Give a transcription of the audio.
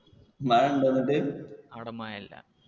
അവിടെ മഴ ഇല്ല.